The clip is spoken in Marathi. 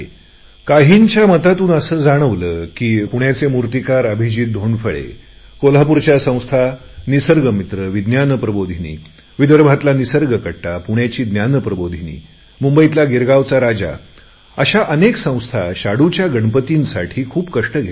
काहींच्या मतातून असे जाणवले की पुण्याचे मूर्तिकार अभिजीत धोंडफळे कोल्हापूरच्या संस्थानिसर्ग मित्र विज्ञान प्रबोधिनी विदर्भातला निसर्ग कट्टा पुण्याची ज्ञान प्रबोधिनी मुंबईतला गिरगावचा राजा अशा अनेक संस्था शाडूच्या गणपतींसाठी खूप कष्ट घेतात